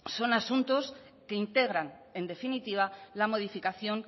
son asuntos que integran en definitiva la modificación